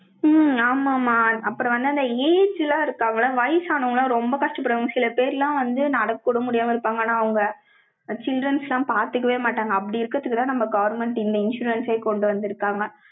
உம் ஆமாம்மா. அப்புறம் வந்து, அந்த aged எல்லாம் வயசானவங்களாம் ரொம்ப கஷ்டப்படுவாங்க. சில பேரெல்லாம் வந்து, நடக்கக்கூட முடியாம இருப்பாங்க. ஆனா, அவங்க children's எல்லாம் பாத்துக்கவே மாட்டாங்க. அப்படி இருக்கறதுக்குத்தான், நம்ம government இந்த insurance ஏ கொண்டு வந்திருக்காங்க.